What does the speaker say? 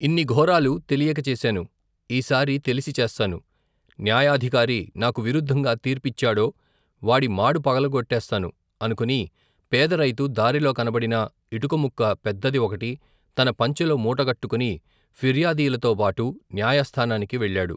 ఇన్ని ఘోరాలు తెలియక చేశాను ఈసారి తెలిసి చేస్తాను న్యాయాధికారి నాకు విరుద్దంగా తీర్పిచ్చాడో వాడి మాడు పగుల గొట్టేస్తాను అనుకుని పేదరైతు దారిలో కనబడిన ఇటుకముక్క పెద్దది ఒకటి తన పంచెలో మూటగట్టుకుని ఫిర్యాదీలతో బాటు న్యాయస్థానానికి వెళ్లాడు.